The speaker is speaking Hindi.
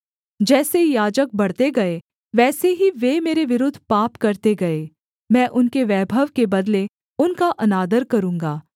जैसे याजक बढ़ते गए वैसे ही वे मेरे विरुद्ध पाप करते गए मैं उनके वैभव के बदले उनका अनादर करूँगा